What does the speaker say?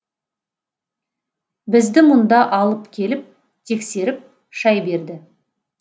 бізді мұнда алып келіп тексеріп шай берді